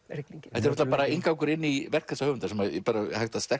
rigningin þetta er bara inngangur inn í verk þessa höfundar sem er hægt að